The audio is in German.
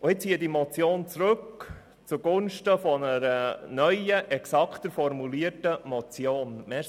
Ich ziehe diese Motion zugunsten einer neuen, exakter formulierten Motion zurück.